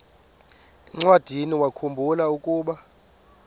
encwadiniwakhu mbula ukuba